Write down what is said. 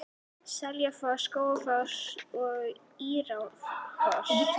Seljalandsfoss, Skógafoss og Írárfoss.